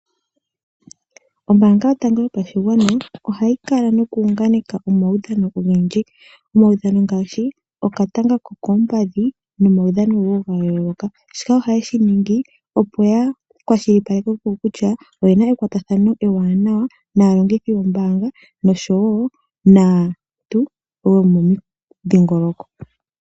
Ombaanga yotango yopashigwana ohayi kala noku hunganeka omaudhano ogendji. Omaudhano ngaashi okatanga kokoompadhi nomaudhano wo ga yooloka. Shika ohaye shi ningi opo ya kwashilipaleke kutya oyena ekwatathano ewaanawa naalongithi yombaanga noshowo naantu yomomudhingoloko.